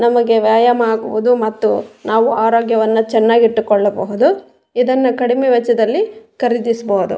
ನಮಗೆ ವ್ಯಾಯಾಮ ಆಗಿವುದು ಮತ್ತು ನಾವು ಆರೋಗ್ಯವನ್ನ ಚೆನ್ನಾಗಿ ಇಟ್ಟುಕೊಳ್ಳಬಹುದು ಇದನ್ನ ಕಡಿಮೆ ವೆಚ್ಚದಲ್ಲಿ ಖರೀದಿಸಬಹುದು.